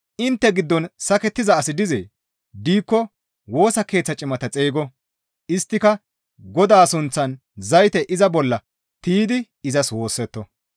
Intte giddon sakettiza asi dizee? Diikko Woosa Keeththa cimata xeygo; isttika Godaa sunththan zayte iza bolla tiydi izas woossetto.